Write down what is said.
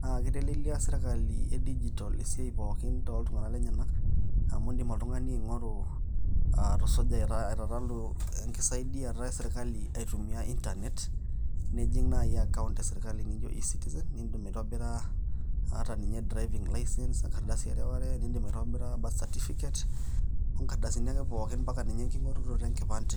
Naa kitelelia sirkali e digital siai pookin te ntung'ana nenyanak amu edim oltung'ani ang'uaru aa tusuja, etalalu enkisaidiata ee sirkali atumia internet ,nijing naa iye account ya sirkali nijo E-citizen, nidim atuibira ata ninye driving licence o nkaridasi aware aware. Nidim atuibira birth certificate o nkaridasini ake pooki ata ninye ng'iorunoto enkipande.